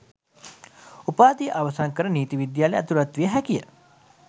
උපාධිය අවසන් කර නීති විද්‍යාලයට ඇතුළත් විය හැකියි